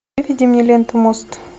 выведи мне ленту мост